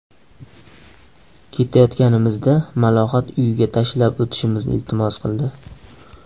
Ketayotganimizda Malohat uyiga tashlab o‘tishimizni iltimos qildi.